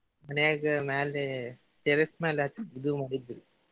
ಮನ್ಯಾಗ ಮ್ಯಾಲೆ terrace ಮೇಲೆ ಹತ್ತಿಇದು ಮಾಡಿದ್ರಿ.